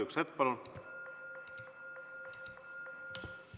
Üks hetk, palun!